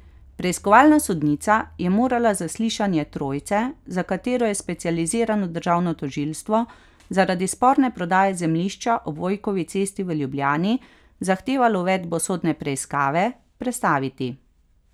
Preiskovalna sodnica je morala zaslišanje trojice, za katero je specializirano državno tožilstvo zaradi sporne prodaje zemljišča ob Vojkovi cesti v Ljubljani zahtevalo uvedbo sodne preiskave, prestaviti.